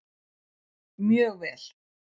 Mjög vel